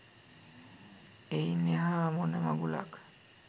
එයින් එහා මොන මගුලක්